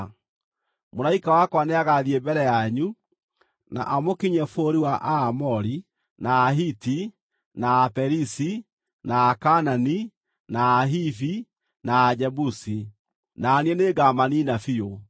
Mũraika wakwa nĩagathiĩ mbere yanyu, na amũkinyie bũrũri wa Aamori, na Ahiti, na Aperizi, na Akaanani, na Ahivi, na Ajebusi, na niĩ nĩngamaniina biũ.